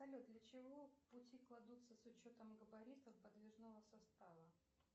салют для чего пути кладутся с учетом габаритов подвижного состава